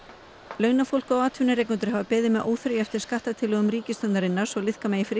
launafólk og atvinnurekendur hafa beðið með óþreyju eftir skattatillögum ríkisstjórnarinnar svo liðka megi fyrir